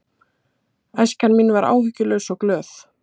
Æska mín var áhyggjulaus og glöð.